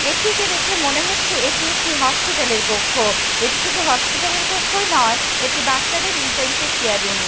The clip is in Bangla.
এটিকে দেখে মনে হচ্ছে এটি একটি হসপিটাল -এর কক্ষ এটি শুধু হসপিটাল -এর কক্ষই নয় এটি বাচ্চাদের ইন্টেনসিভ কেয়ার ইউনিট ।